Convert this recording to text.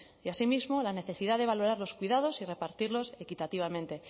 y asimismo la necesidad de valorar los cuidados y repartirlos equitativamente